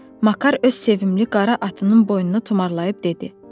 Makar öz sevimli qara atının boynunu tumarlayıb dedi: